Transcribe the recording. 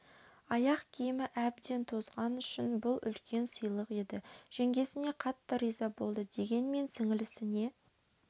аяқ киімі әбден тозған үшін бұл үлкен сыйлық еді жеңгесіне қатты риза болды дегенмен сіңілісіне